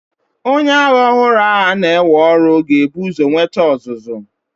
Onye agha ọhụrụ a na-ewe ọrụ ga-ebu ụzọ nweta ọzụzụ.